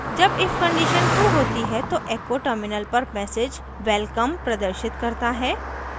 जब if condition true होती है तो echo terminal पर message welcome प्रदर्शित करता है